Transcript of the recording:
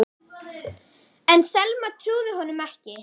En Selma trúði honum ekki.